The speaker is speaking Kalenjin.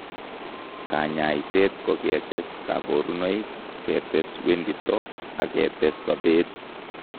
Kanyaiseet ko ketes kaborunoik, ketes wendito ak ketes sobeet